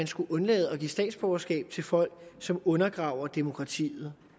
skulle undlade at give statsborgerskab til folk som undergraver demokratiet